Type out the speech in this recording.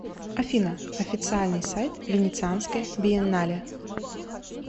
афина официальный сайт венецианская биеннале